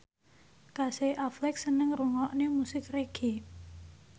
Casey Affleck seneng ngrungokne musik reggae